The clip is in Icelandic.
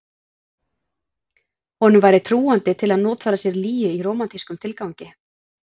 Honum væri trúandi til að notfæra sér lygi í rómantískum tilgangi.